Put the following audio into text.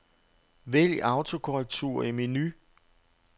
Vælg autokorrektur i menu.